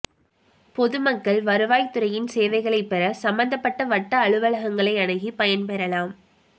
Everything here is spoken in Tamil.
பொதுமக்கள் வருவாய்த்துறையின் சேவைகளை பெற சம்பந்தப்பட்ட வட்ட அலுவலகங்களை அணுகி பயன்பெறலாம்